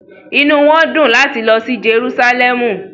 Inu won di lati fun lilo si Jerusalem